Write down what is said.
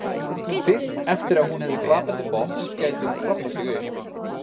Fyrst eftir að hún hefði hrapað til botns gæti hún kraflað sig upp.